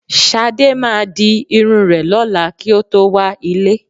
Ṣadé máa di irun rẹ̀ lọ́la kí ó tó wá ilé